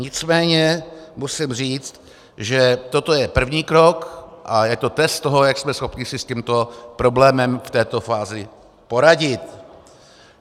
Nicméně musím říct, že toto je první krok a je to test toho, jak jsme schopni si s tímto problémem v této fázi poradit.